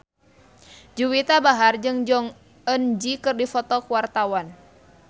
Juwita Bahar jeung Jong Eun Ji keur dipoto ku wartawan